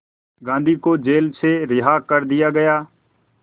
गांधी को जेल से रिहा कर दिया गया